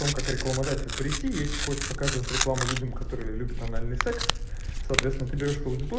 том как рекламодатель прийти есть хочешь показывать рекламу людям которые любят анальный секс соответственно ты берёшь